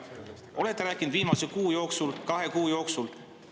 Kas olete rääkinud viimase kuu jooksul, kahe kuu jooksul?